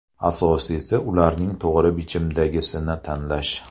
Asosiysi, ularning to‘g‘ri bichimdagisini tanlash.